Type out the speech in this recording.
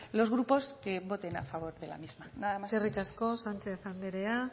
los grupos que voten a favor de la misma nada más eskerrik asko sanchez anderea